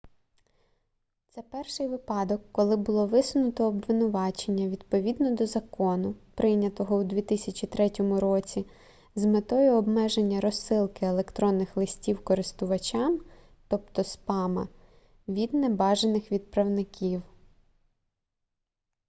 це перший випадок коли було висунуто обвинувачення відповідно до закону прийнятого у 2003 році з метою обмеження розсилки електронних листів користувачам тобто спама від небажаних відправників